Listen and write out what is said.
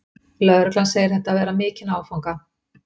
Lögreglan segir þetta vera mikinn áfanga